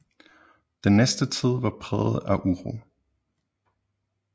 Den næste tid var præget af uro